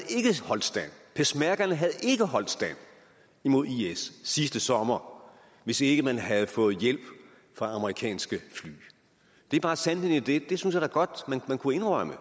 holdt stand peshmerga havde ikke holdt stand imod is sidste sommer hvis ikke man havde fået hjælp fra amerikanske fly det er bare sandheden i det det synes jeg da godt man kunne indrømme